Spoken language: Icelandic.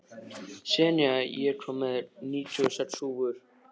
Senía, ég kom með níutíu og sex húfur!